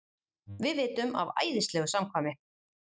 Við vitum af æðislegu samkvæmi.